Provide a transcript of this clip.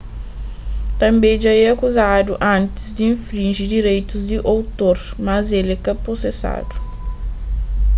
tanbê dja é akuzadu antis di infrinji direitus di otor mas el ka prosesadu